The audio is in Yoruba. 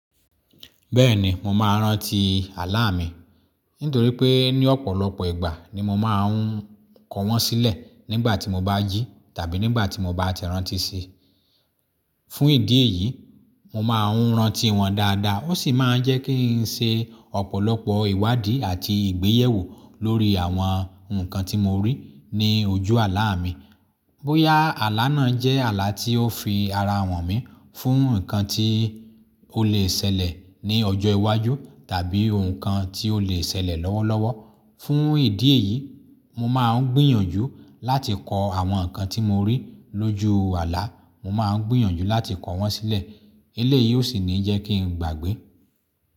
Bẹ́ẹ̀ni, mo máa ń rántí àlá mi nítorí pé ní ọ̀pọ̀lọpọ̀ ìgbà ni mo máa ń kọ wọ́n sílẹ̀ nígbà tí mo bá ji tàbí nígbà tí mo bá ti rántí sí i. Fún ìdí èyí, mo máa ń rántí wọn dáadáa, ó sì máa ń jẹ́ kí n ṣe ọ̀pọ̀lọpọ̀ ìwádìí àti ìgbéyewó lórí àwọn nǹkan tí mo rí ní ojú àlá mi. Bóyá àlá náà jẹ́ àlá tí ó fi ara an mi fún nǹkan tí ó lè ṣẹlẹ̀ ní ọjọ́ iwájú tàbí nǹkan tí ó lè ṣẹlẹ̀ lọ́wọ́lọ́wọ́. Fún ìdí èyí, mo máa ń gbìyànjú láti kọ àwọn nǹkan tí mo rí lójú àlá, mo máa ń gbìyànjú láti kọ wọ́n sílẹ̀. Eléyìí ó sì ní jẹ́ kí n gbàgbé.